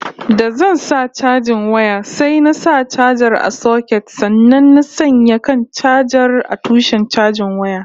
Da zan sa chajin waya sai na sa chajar a soket sannan na sanya kan chajar a tushen chajin wayar